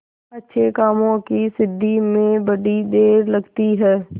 अच्छे कामों की सिद्धि में बड़ी देर लगती है